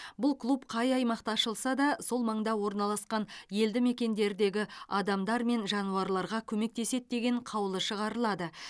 бұл клуб қай аймақта ашылса да сол маңда орналасқан елді мекендердегі адамдар мен жануарларға көмектеседі деген қаулы шығарылады